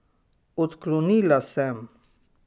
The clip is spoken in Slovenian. Odklonila sem.